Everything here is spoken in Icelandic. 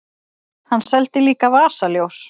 Hann seldi líka vasaljós.